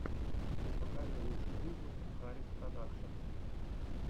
покажи лучший выпуск хариспродакшн